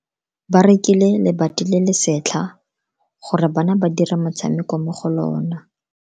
Ba rekile lebati le le setlha gore bana ba dire motshameko mo go lona.